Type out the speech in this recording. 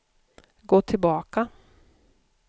gå tillbaka